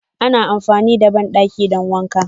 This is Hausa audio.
Ana amfani da bandaki don wanka.